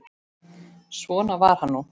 Svona var hann nú.